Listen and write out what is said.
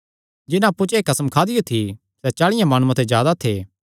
जिन्हां अप्पु च एह़ कसम खादियो थी सैह़ चाल़ियां माणुआं ते जादा थे